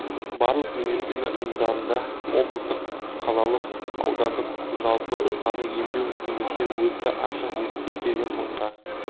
барлық медицина ұйымдарында облыстық қалалық аудандық жалпы саны емдеу мекемесінде өтті ашық есікке келген мыңға